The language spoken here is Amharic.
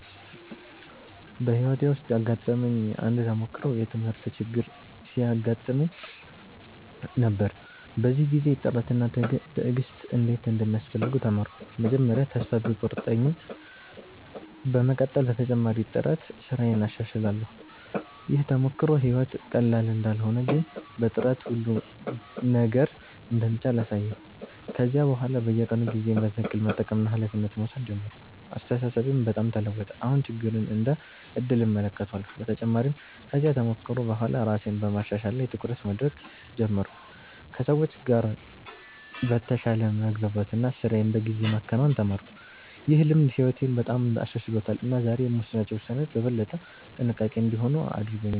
በሕይወቴ ውስጥ ያጋጠመኝ አንድ ተሞክሮ የትምህርት ችግር ሲያጋጥመኝ ነበር። በዚያ ጊዜ ጥረት እና ትዕግሥት እንዴት እንደሚያስፈልጉ ተማርኩ። መጀመሪያ ተስፋ ቢቆርጠኝም በመቀጠል በተጨማሪ ጥረት ስራዬን አሻሽላለሁ። ይህ ተሞክሮ ሕይወት ቀላል እንዳልሆነ ግን በጥረት ሁሉ ነገር እንደሚቻል አሳየኝ። ከዚያ በኋላ በየቀኑ ጊዜዬን በትክክል መጠቀምና ኃላፊነት መውሰድ ጀመርኩ። አስተሳሰቤም በጣም ተለወጠ፤ አሁን ችግርን እንደ ዕድል እመለከታለሁ። በተጨማሪም ከዚያ ተሞክሮ በኋላ ራሴን በማሻሻል ላይ ትኩረት ማድረግ ጀመርኩ፣ ከሰዎች ጋር በተሻለ መግባባት እና ስራዬን በጊዜ ማከናወን ተማርኩ። ይህ ልምድ ሕይወቴን በጣም አሻሽሎታል እና ዛሬ የምወስናቸው ውሳኔዎች በበለጠ ጥንቃቄ እንዲሆኑ አድርጎኛል።